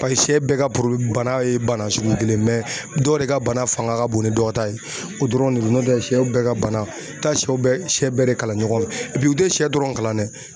Pase sɛ bɛɛ ka porodi bana ye bana sugu kelen ye mɛ dɔ de ka bana fanga ka bon ni dɔ ta ye o dɔrɔn de do n'o tɛ sɛw bɛɛ ka bana taa sɛw bɛɛ sɛ bɛɛ de kalan ɲɔgɔn fɛ epi u te sɛ dɔrɔn kalan nɛ